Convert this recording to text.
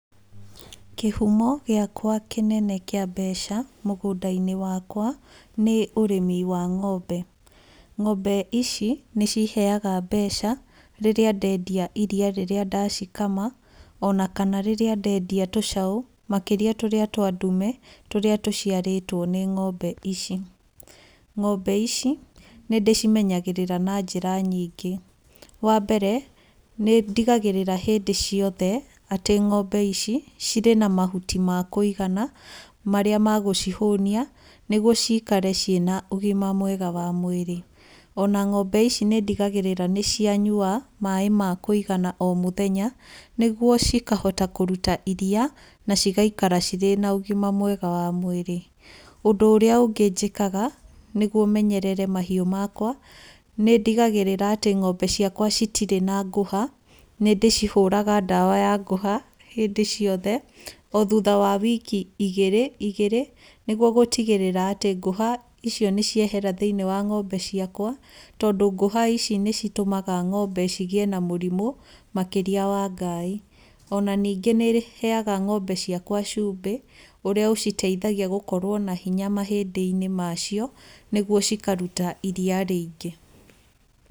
Kĩhumo gĩakwa kĩnene kĩa mbeca mũgũnda-inĩ wakwa nĩ ũrĩmi wa ngombe. Ngombe ici nĩ ciheage mbeca rĩrĩa ndendia iria rĩrĩa ndacikama ona kana rĩrĩa ndendia tũcaũ makĩria tũrĩa twa ndume tũrĩa tũciarĩtwo nĩ ngombe ici. Ngombe ici nĩ ndĩcimenyagĩrĩra na njĩra nyingĩ. Wa mbere, nĩ ndigagĩrĩra hĩndĩ ciothe atĩ ngombe ici cirĩ na mahuti ma kũigana marĩa ma gũcihũnia nĩguo cikare ciĩ na ũgima mwega wa mwĩrĩ. Ona ngombe ici nĩ ndigagĩrĩra nĩ cianyua maaĩ ma kũigana o mũthenya nĩguo cikahota kũruta iria na cigaikara cirĩ na ũgima mwega wa mwĩrĩ. Ũndũ ũrĩa ũngĩ njĩkaga nĩguo menyerere mahiũ makwa, nĩ ndigagĩrĩra atĩ ngombe ciakwa citirĩ na ngũha. Nĩ ndĩcihũraga ndawa ya ngũha hĩndĩ ciothe, o thutha wa wiki igĩrĩ igĩrĩ, nĩguo gũtigĩrĩra atĩ ngũha icio nĩ ciehera thĩinĩ wa ngombe ciakwa, tondũ ngũha ici nĩ citũmaga ngombe cigĩe na mũrimũ makĩria wa ngaaĩ. Ona ningĩ nĩ heaga ngombe ciakwa cumbĩ ũrĩa ũciteithagia gũkorwona hinya mahĩndĩ-inĩ macio nĩguo cikaruta iria rĩingĩ.